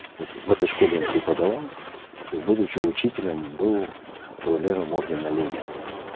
в этой школе он преподавал и будучи учителем был кавалером ордена ленина